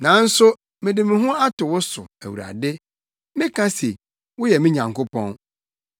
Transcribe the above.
Nanso mede me ho ato wo so, Awurade; meka se, “Woyɛ me Nyankopɔn.”